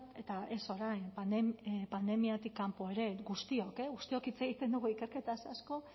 eta ez orain pandemiatik kanpo ere guztiok guztiok hitz egiten dugu ikerketaz asko